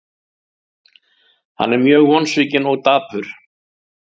Hann er mjög vonsvikinn og dapur.